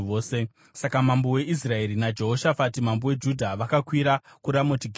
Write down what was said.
Saka mambo weIsraeri naJehoshafati mambo weJudha vakakwira kuRamoti Gireadhi.